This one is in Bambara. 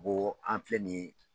N go an filɛ nin ye